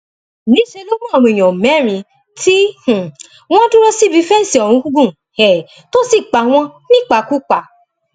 níṣẹ ló mú àwọn èèyàn mẹrin tí um wọn dúró síbi fẹǹsì ọhún gùn um tó sì pa wọn nípakúpa